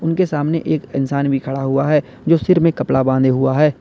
उनके सामने एक इंसान भी खड़ा हुआ है जो सिर में कपड़ा बांधे हुआ है।